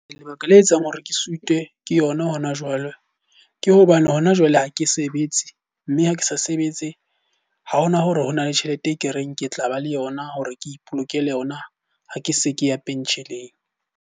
Lebaka le etsang hore ke suite ke yona hona jwale. Ke hobane hona jwale ha ke sebetse, mme ha ke sa sebetse ha hona hore hona le tjhelete e ke reng ke tla ba le yona hore ke ipolokela yona ha ke se ke ya pension-eng.